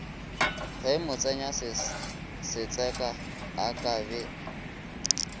ge motsenyasetseka a ka be